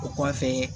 O kɔfɛ